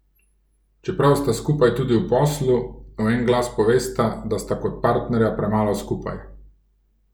Čeprav sta skupaj tudi v poslu, v en glas povesta, da sta kot partnerja premalo skupaj.